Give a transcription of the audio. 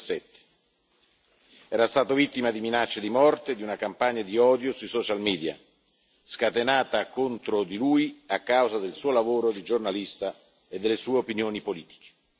2017. Era stato vittima di minacce di morte e di una campagna di odio sui social media, scatenata contro di lui a causa del suo lavoro di giornalista e delle sue opinioni politiche.